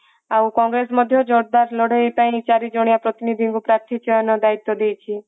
ଆଉ କଂଗ୍ରେସ ମଧ୍ୟ ଜୋରଦାର ଲଢେଇ ପାଇଁ ଚାରି ଜଣିଆ ପ୍ରତିନିଧିଙ୍କୁ ପାର୍ଥୀ ଚୟନ ଦାୟିତ୍ଵ ଦେଇଛି